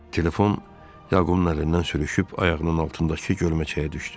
Telefon Yaqubun əlindən sürüşüb ayağının altındakı gölməçəyə düşdü.